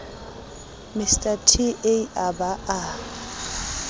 mr t a ba a